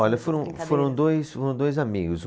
Olha, foram, foram dois, foram dois amigos. Um